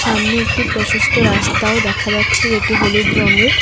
সামনে একটি প্রশস্ত রাস্তাও দেখা যাচ্ছে যেটি হলুদ রঙের।